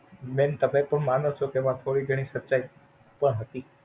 બેન તમે તો માનો છો કે એમાં થોડી ઘણી સચ્ચાઈ પણ હતી.